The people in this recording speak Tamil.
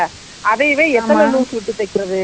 அந்த பச்சை color full ல வா இருக்கும், அதை சொல்லு.